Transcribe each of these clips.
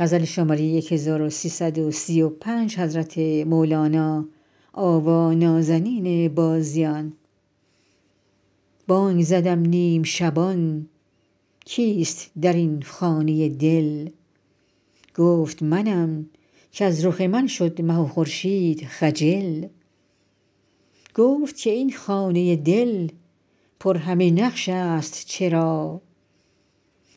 بانگ زدم نیم شبان کیست در این خانه دل گفت منم کز رخ من شد مه و خورشید خجل گفت که این خانه دل پر همه نقشست چرا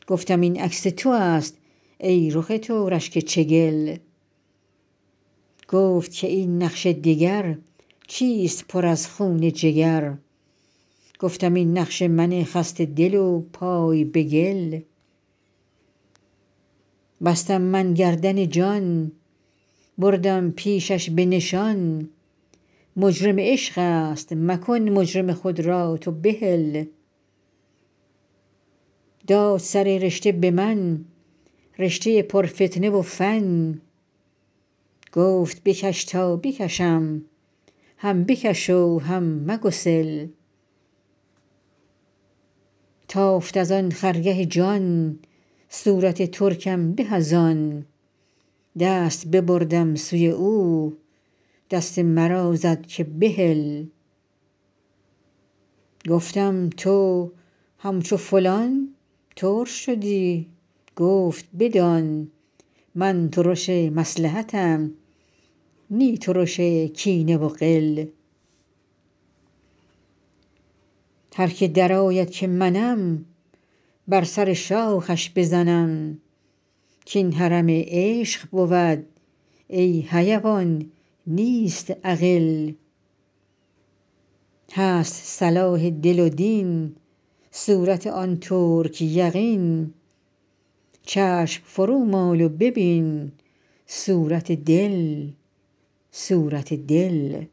گفتم این عکس تو است ای رخ تو رشک چگل گفت که این نقش دگر چیست پر از خون جگر گفتم این نقش من خسته دل و پای به گل بستم من گردن جان بردم پیشش به نشان مجرم عشق است مکن مجرم خود را تو بحل داد سر رشته به من رشته پرفتنه و فن گفت بکش تا بکشم هم بکش و هم مگسل تافت از آن خرگه جان صورت ترکم به از آن دست ببردم سوی او دست مرا زد که بهل گفتم تو همچو فلان ترش شدی گفت بدان من ترش مصلحتم نی ترش کینه و غل هر کی درآید که منم بر سر شاخش بزنم کاین حرم عشق بود ای حیوان نیست اغل هست صلاح دل و دین صورت آن ترک یقین چشم فرومال و ببین صورت دل صورت دل